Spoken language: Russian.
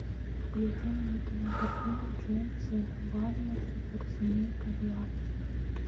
включи мне кинокартину джеймса вана суперсемейка два